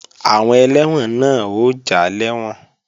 Àwọn ẹlẹ́wọ̀n náà ó já lẹ́wọ̀n